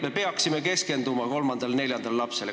Me peaksime keskenduma kolmandale ja neljandale lapsele.